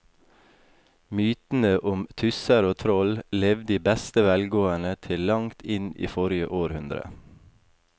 Mytene om tusser og troll levde i beste velgående til langt inn i forrige århundre.